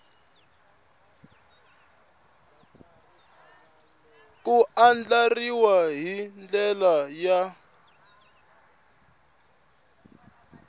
ku andlariwa hi ndlela ya